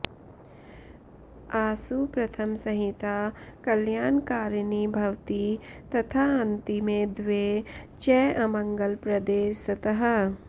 अासु प्रथमसंहिता कल्याणकारिणी भवति तथाऽन्तिमे द्वे च अमङ्गलप्रदे स्तः